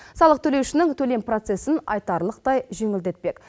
салық төлеушінің төлем процесін айтарлықтай жеңілдетпек